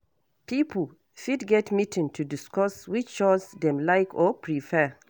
Pipo fit get meeting to discuss which chore dem like or prefer